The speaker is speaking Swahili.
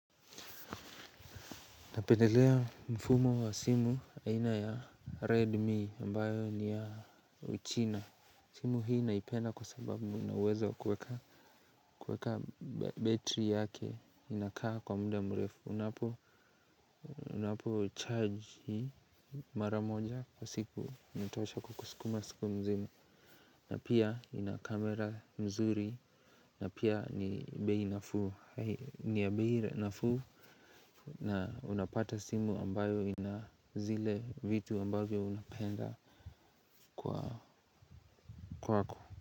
Napendelea mfumo wa simu aina ya Redmi ambayo ni ya uchina. Simu hii naipenda kwa sababu unaweza kueka kueka betri yake inakaa kwa muda mrefu. Unapo charge mara moja kwa siku inatosha kukusukuma siku mzima. Na pia ina kamera nzuri na pia ni bei nafuu na unapata simu ambayo ina zile vitu ambavyo unapenda kwa kwako.